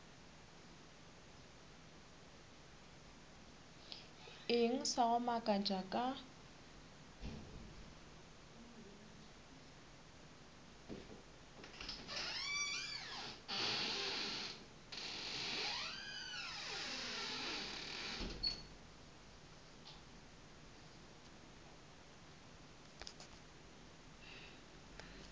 eng sa go makatša ka